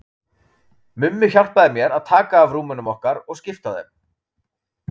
Mummi hjálpaði mér að taka af rúmunum okkar og skipta á þeim.